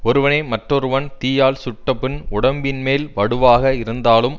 ஒருவனை மற்றொருவன் தீயால் சுட்ட புண் உடம்பின் மேல் வடுவாக இருந்தாலும்